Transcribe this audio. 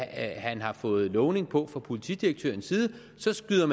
han har fået lovning på fra politidirektørens side så skyder